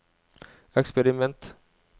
eksperiment